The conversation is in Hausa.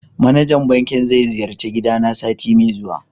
manajan banking ze siyarci gidana sati me zuwa.